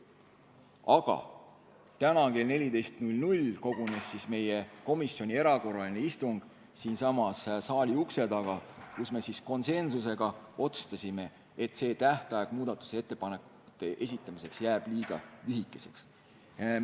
Aga täna kell 14 kogunes meie komisjon erakorraliselt siinsamas saali ukse taga, kus me konsensusega otsustasime, et see tähtaeg muudatusettepanekute esitamiseks jääb liiga lühikeseks.